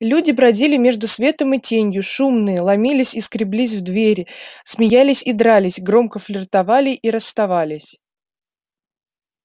люди бродили между светом и тенью шумные ломились и скреблись в двери смеялись и дрались громко флиртовали и расставались